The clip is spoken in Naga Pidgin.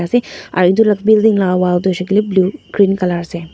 ase aro edu la building la wall tu hoishey koilae blue green colour ase.